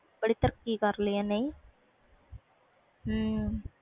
ਬੜੀ ਤਰੱਕੀ ਕਰ ਲਈ ਇਹਨੇ